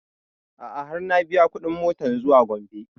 A'a har na biya kuɗin motan zuwa gombe